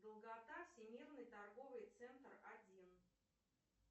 долгота всемирный торговый центр один